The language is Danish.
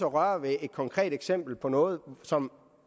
røre ved et konkret eksempel på noget som